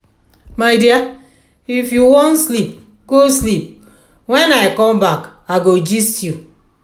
my dear if you wan sleep go sleep wen i come back i go gist you